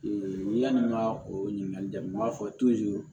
yanni n ka o ɲininkali daminɛ n b'a fɔ